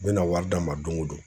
N bɛna wari d'a ma don go don .